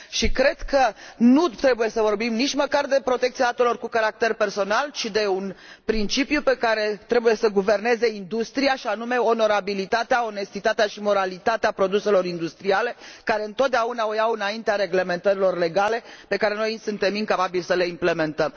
Cred că nu trebuie să vorbim nici măcar de protecția datelor cu caracter personal, ci de un principiu care trebuie să guverneze industria, și anume onorabilitatea, onestitatea și moralitatea produselor industriale, care întotdeauna o iau înaintea reglementărilor legale, pe care noi suntem incapabili să le implementăm.